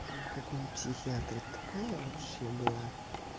прямо как моя психиатр такая вообще была